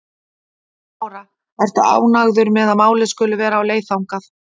Lára: Ertu ánægður með að málið skuli vera á leið þangað?